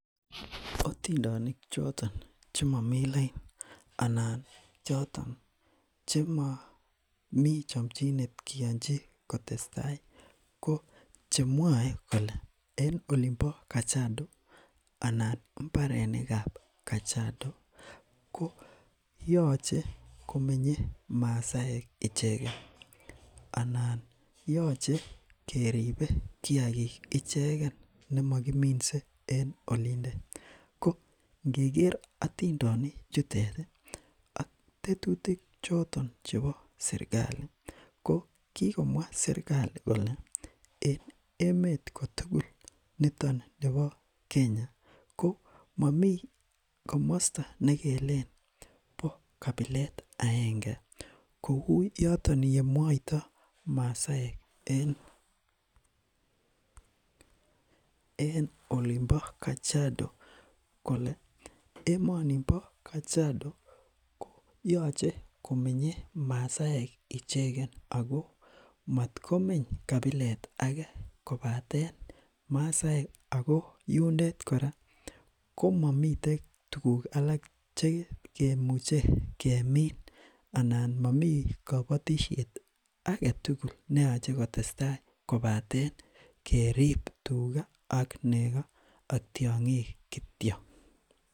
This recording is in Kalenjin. Atindonik choton chemamiten lain anan choton chemamiten chamchinet kianchi kotesetai ko chemwae kole en olimbo kajiado anan imbarenik kab kajiado koyache komenye maasaek icheket anan yachei keribe kiagik ichegen nemakiminze en olindet. Ko ingeger atindonik chutet ak tetutik choton chebo sirkali kole emet kotugul niton nebo Kenya komami kamasto nekelen bo kabilet aenge kou yoton yemwae maasaek en olimbo kajiado kole , emonimbo kajiado koyache komenye maasaek icheket Ako matkome kabilet age Ako kora mamiten tuguk alak chegemine anan Mami kabatisiet age tugul neyache kotesetai kobaten kerib tuga ak nego ak tiang'ik kityo